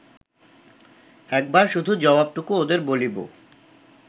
একবার শুধু জবাবটুকু ওঁদের বলিব